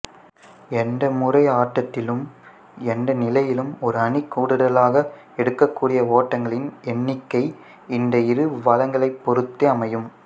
எந்தமுறை ஆட்டத்திலும் எந்தநிலையிலும் ஓர் அணி கூடுதலாக எடுக்கக்கூடிய ஓட்டங்களின் எண்ணிக்கை இந்த இரு வளங்களைப் பொறுத்தே அமையும்